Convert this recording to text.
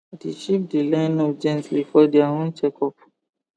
the sheep dey line up gently for their own check up